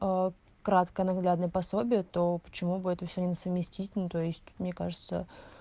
кратко наглядное пособие то почему бы это все на совместить ну то есть мне кажется